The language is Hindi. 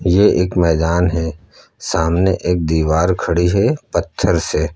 यह एक मैदान है सामने एक दीवार खड़ी है पत्थर से।